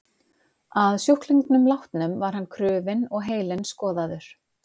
Að sjúklingnum látnum var hann krufinn og heilinn skoðaður.